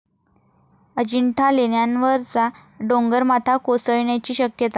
अजिंठा लेण्यांवरचा डोंगरमाथा कोसळण्याची शक्यता